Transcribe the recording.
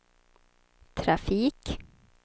trafik